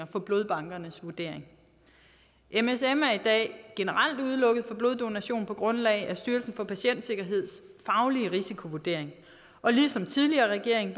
for blodbankernes vurdering msm er i dag generelt udelukket fra bloddonation på grundlag af styrelsen for patientsikkerheds faglige risikovurdering og ligesom tidligere regeringer